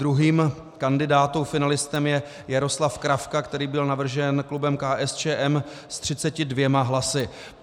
Druhým kandidátem finalistou je Jaroslav Kravka, který byl navržen klubem KSČM, s 32 hlasy.